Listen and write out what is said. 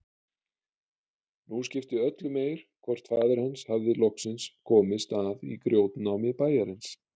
Nú skipti öllu meir hvort faðir hans hafði loksins komist að í grjótnámi bæjarins.